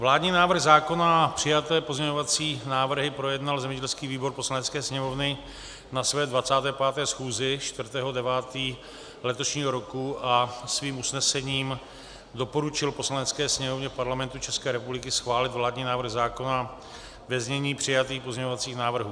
Vládní návrh zákona a přijaté pozměňovací návrhy projednal zemědělský výbor Poslanecké sněmovny na své 25. schůzi 4. 9. letošního roku a svým usnesením doporučil Poslanecké sněmovně Parlamentu České republiky schválit vládní návrh zákona ve znění přijatých pozměňovacích návrhů.